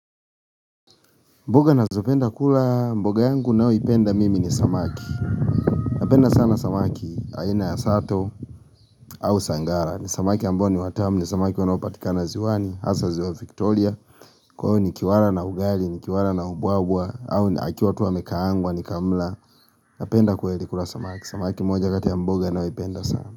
Mboga nazopenda kulaa mboga yangu nayoipenda mimi ni samaki Napenda sana samaki aina ya sato aa au sangara ni samaki ambao ni watamu ni samaki wanopatikana ziwani Hasa ziwa Victoria kwao ni kiwala na ugali, ni kiwala na ubwaa ubwaa au akiwa tu amekaangwa, nikamla Napenda kweli kula samaki Samaki moja kati ya mboga nayo ipenda sana.